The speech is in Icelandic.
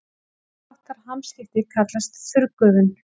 Þess háttar hamskipti kallast þurrgufun.